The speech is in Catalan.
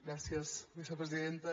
gràcies vicepresidenta